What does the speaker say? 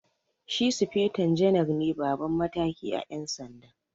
Shi sufeto janar ne Baban mataki à Yan sanda.